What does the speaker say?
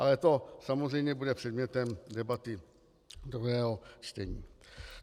Ale to, samozřejmě, bude předmětem debaty druhého čtení.